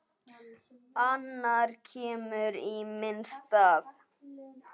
Annar kemur í minn stað.